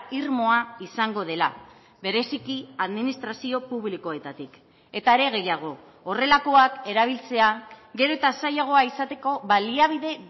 irmoa izango dela bereziki administrazio publikoetatik eta are gehiago horrelakoak erabiltzea gero eta zailagoa izateko baliabide